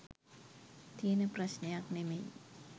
තියෙන ප්‍රශ්ණයක් නෙමෙයි.